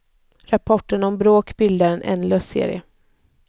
Rapporterna om bråk bildar en ändlös serie.